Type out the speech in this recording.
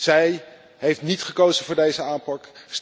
Zij heeft niet gekozen voor deze aanpak.